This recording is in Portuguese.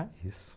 isso.